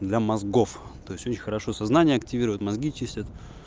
для мозгов то есть у них хорошо сознание активируют мозги чистят